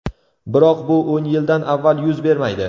Biroq bu o‘n yildan avval yuz bermaydi.